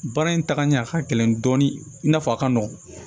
Baara in tagaɲɛ a ka gɛlɛn dɔɔni i n'a fɔ a ka nɔgɔn